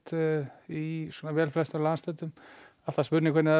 í flestum landshlutum spurning hvernig það